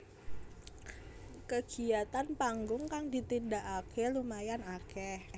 Kegiatan panggung kang ditindakake lumayan akeh